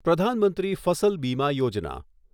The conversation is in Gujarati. પ્રધાન મંત્રી ફસલ બીમા યોજના